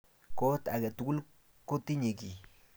Kot ake tukul ko tinye kiy